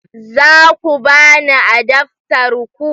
Za ku ba ni adaftar ku?